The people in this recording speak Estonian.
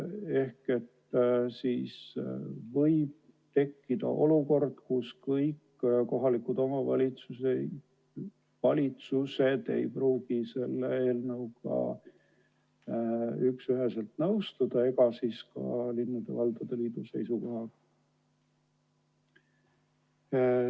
Seega võib tekkida olukord, kus kõik kohalikud omavalitsused ei pruugi selle eelnõuga nõustuda ega ka linnade ja valdade liidu seisukohaga.